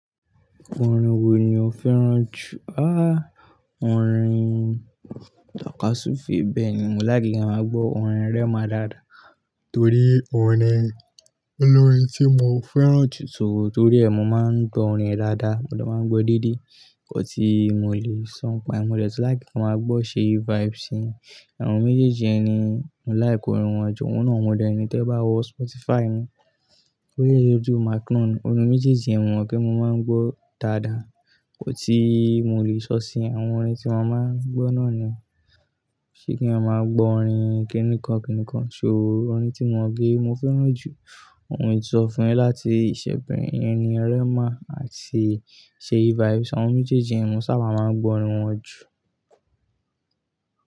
Orin wo ni o fẹ́ràn jù? Ha! Orin Takásúfe, bẹ́ẹ̀ ni mo láìkí ki ń máa gbọ́ orin Rema dáadáa torí òun ni, ólórin tí mo fẹ́ràn jù so torí ẹ mọ́ máa ń gbọ́ orin ẹ dáadáa, mo dẹ máa ń gbọ́ dédé. Nkan tí mo lè sọ̀ n pa ẹ, mo dẹ̀ tun láìk ki ń máa gbọ́ Seyi Vibes ṣe, àwọn méjèèjì yẹn ni mo like orin wọn jù, ohun náà mo dẹni tẹ bá wọ Spotify mi. Kúnlé ọjú Macron, orin méjèèjì yẹ́n mo mo pe mo maa ń gbọ́ dáadáa, kò tíì mo lè sọ̀ síi àwọn orin tí mo máa ń gbọ́ ni yen se kí eeyan maa gbọ́ orin kini kan kini kan, ṣo iru orin tí mo pẹ́ mo fẹ́ràn jù. Ohun tí mo ti sọ fún yin láti ìṣẹ̀ pẹ̀ iyẹn ni Rhema àti Seyi Vibes, àwọn méjèèjì mo sábà máa ń gbọ́ orin wọn jù.